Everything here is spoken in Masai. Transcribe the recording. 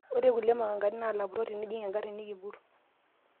ore ilkulie makangani naa ilapurrok tenijing' engarri nekipurr